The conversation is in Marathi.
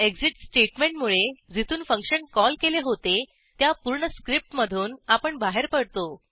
एक्सिट स्टेटमेंटमुळे जिथून फंक्शन कॉल केले होते त्या पूर्ण स्क्रिप्टमधून आपण बाहेर पडतो